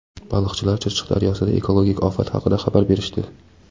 Baliqchilar Chirchiq daryosida ekologik ofat haqida xabar berishdi.